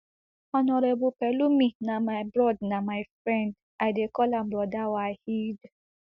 honourable pelumi na my broad na my friend i dey call am broda waheed